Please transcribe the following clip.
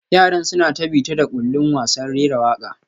Yaran suna ta bita-da-kullin wasan rera waka